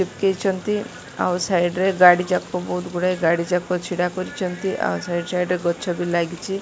ଏକେଇଚନ୍ତି ଆଉ ସାଇଡ଼ ରେ ଗାଡ଼ି ଯାକ ବୋହୁତ୍ ଗୁଡ଼ାଏ ଗାଡ଼ି ଯାକ ଛିଡ଼ା କରିଚନ୍ତି ଆଉ ସଇଡ଼୍ ସଇଡ଼୍ ରେ ଗଛ ବି ଲାଗିଚି ।